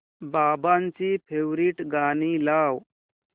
बाबांची फेवरिट गाणी लाव